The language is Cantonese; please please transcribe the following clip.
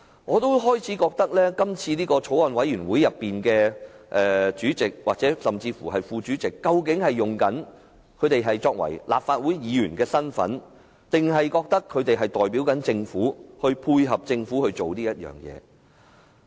我開始懷疑，今次的法案委員會主席甚至副主席，究竟是以立法會議員的身份擔任，還是認為自己代表政府，所以要配合政府這樣做。